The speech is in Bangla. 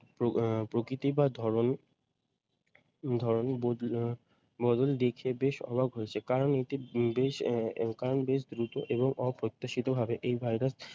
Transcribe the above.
প্র আহ প্রকৃতি বা ধরণ ধরন বদলে আহ বদল দেখে বেশ অবাক হয়েছে কারণ এটি বেশ আহ আহ কারণ বেশ দ্রুত এবং অপ্রত্যাশিত ভাবে এই ভাইরাস